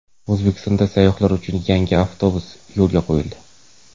O‘zbekistonda sayyohlar uchun yangi avtobus yo‘lga qo‘yildi.